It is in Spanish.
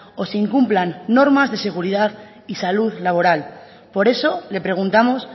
o se incumplan normas de seguridad y salud laboral por eso le preguntamos